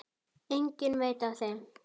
Enginn veit af þeim.